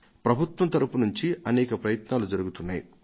ప్రభుత్వం తరఫు నుంచి అనేక ప్రయత్నాలు జరుగుతున్నాయి